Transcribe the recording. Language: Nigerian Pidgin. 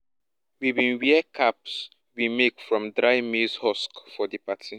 we wear caps we make from dried maize husks for di party